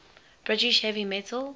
british heavy metal